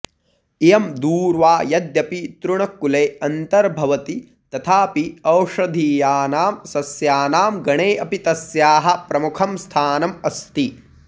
इयं दूर्वा यद्यपि तृणकुले अन्तर्भवति तथापि औषधीयानां सस्यानां गणे अपि तस्याः प्रमुखं स्थानम् अस्ति